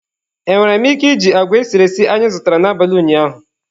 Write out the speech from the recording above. Enwere m ike iji agwa esiri esi anyị zụtara n'abalị ụnyaahụ?